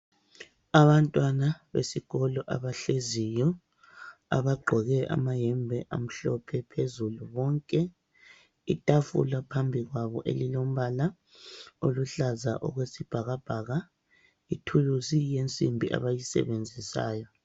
Abantwana besikolo abahleziyo, abagqoke amayembe amhlophe phezulu bonke. Itafula phambi kwabo elilombala oluhlaza okwesibhakabhaka. Ithulusi yensimbi abayisebenzisayo.